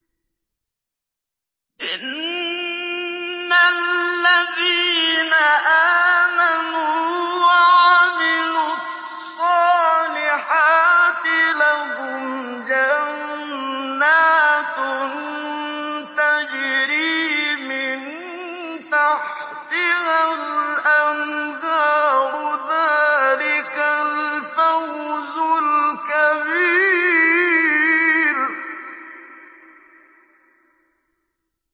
إِنَّ الَّذِينَ آمَنُوا وَعَمِلُوا الصَّالِحَاتِ لَهُمْ جَنَّاتٌ تَجْرِي مِن تَحْتِهَا الْأَنْهَارُ ۚ ذَٰلِكَ الْفَوْزُ الْكَبِيرُ